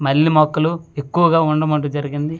మల్లి మొక్కలు ఎక్కువ గా ఉండటం అంటూ జరిగింది ఇక్కడ చ--